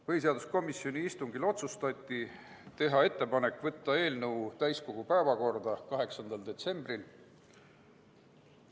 Põhiseaduskomisjoni istungil otsustati teha ettepanek võtta eelnõu täiskogu päevakorda 8. detsembriks.